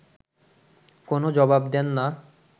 কোনও জবাব দেন না